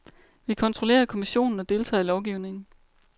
Vi kontrollerer kommissionen og deltager i lovgivningen.